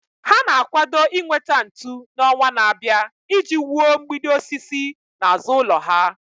Ha na-akwado inweta ntu n'ọnwa na-abịa iji wuo mgbidi osisi n'azụ ụlọ ha.